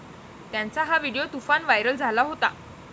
त्यांचा हा व्हिडीओ तुफान व्हायरल झाला होता.